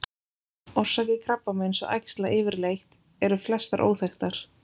Orsakir krabbameins og æxla yfirleitt eru flestar óþekktar.